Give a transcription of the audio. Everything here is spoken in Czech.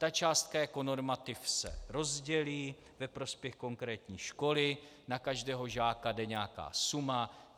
Ta částka jako normativ se rozdělí ve prospěch konkrétní školy, na každého žáka jde nějaká suma.